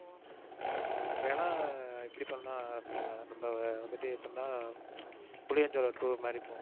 வேணும்னா இப்படி பண்ணலாம் ரம்யா, நம்ப வந்துட்டு எப்படின்னா புளியாஞ்சோலை tour மாதிரி போவோம்.